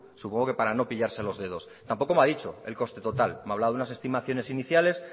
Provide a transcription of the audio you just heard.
supongo que para no pillarse los dedos tampoco me ha dicho el coste total me ha hablado de unas estimaciones iniciales